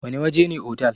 Wana waje ne otal?